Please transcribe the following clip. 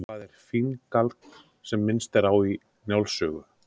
Hvað er finngálkn sem minnst er á í Njáls sögu?